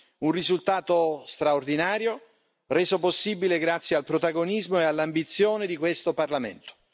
È un risultato straordinario, reso possibile grazie al protagonismo e all'ambizione di questo Parlamento.